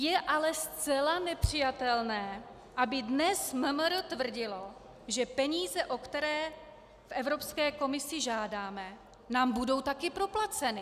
Je ale zcela nepřijatelné, aby dnes MMR tvrdilo, že peníze, o které v Evropské komisi žádáme, nám budou taky proplaceny.